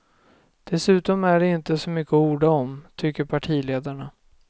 Dessutom är det inte så mycket att orda om, tycker partiledarna.